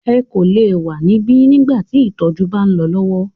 Ẹ kò lè wa níbí nígbà tí ìtọjú bá ń lọ lọwọ!